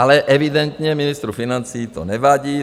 Ale evidentně ministru financí to nevadí.